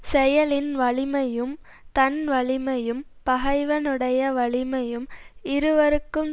செயலின் வலிமையும் தன் வலிமையும் பகைவனுடைய வலிமையும் இருவருக்கும்